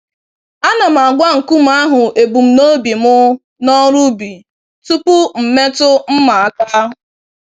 Ana m agwa nkume ahụ ebum nobi mụ n'ọrụ ubi tupu m metụ mma aka.